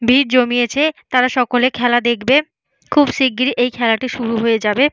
ভিড় জমিয়েছে তারা সকলে খেলা দেখবে। খুব শিগগির এই খেলাটি শুরু হয়ে যাবে।